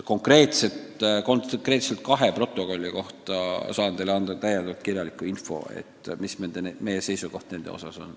Konkreetselt kahe protokolli kohta aga saan teile saata kirjaliku info, mis meie seisukoht nende puhul on.